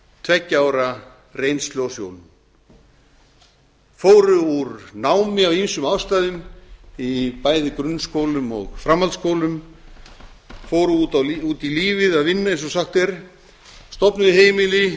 tveggja ára reynslu á sjónum fóru úr námi af ýmsum ástæðum í bæði grunnskólum og framhaldsskólum fóru út í lífið að vinna eins og sagt er stofnuðu